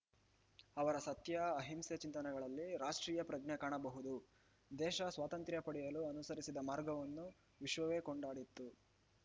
ಅವರ ಸತ್ಯ ಅಹಿಂಸೆ ಚಿಂತನೆಗಳಲ್ಲಿ ರಾಷ್ಟೀಯಪ್ರಜ್ಞೆ ಕಾಣಬಹುದು ದೇಶ ಸ್ವಾತಂತ್ರ್ಯ ಪಡೆಯಲು ಅನುಸರಿಸಿದ ಮಾರ್ಗವನ್ನು ವಿಶ್ವವೇ ಕೊಂಡಾಡಿತ್ತು